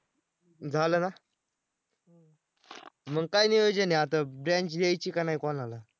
झालं ना? मग काय नियोजन आहे आता Branch द्यायची का नाही कोणाला?